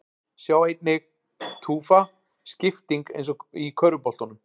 Sjá einnig: Tufa: Skipting eins og í körfuboltanum